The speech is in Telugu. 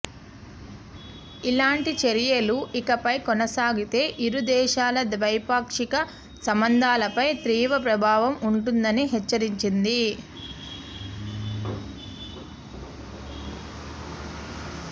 ఇలాంటి చర్యలు ఇకపై కొనసాగితే ఇరుదేశాల ద్వైపాక్షిక సంబంధాలపై తీవ్ర ప్రభావం ఉంటుందని హెచ్చరించింది